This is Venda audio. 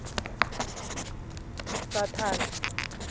saṱhane